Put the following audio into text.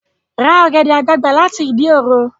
Ra ọ̀gẹ̀dẹ̀ àgbagbà láti Ìdí òro!